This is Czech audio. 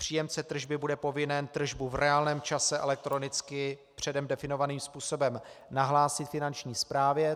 Příjemce tržby bude povinen tržbu v reálném čase elektronicky předem definovaným způsobem nahlásit finanční správě.